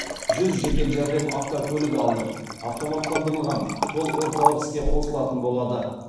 жүз жедел жәрдем автокөлігі алынып автоматтандырылған колл орталық іске қосылатын болады